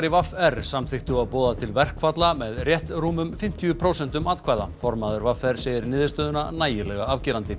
í v r samþykktu að boða til verkfalla með rétt rúmum fimmtíu prósentum atkvæða formaður v r segir niðurstöðuna nægilega afgerandi